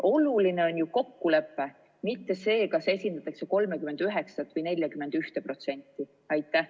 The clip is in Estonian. Oluline on ju kokkulepe, mitte see, kas esindatakse 39% või 41%.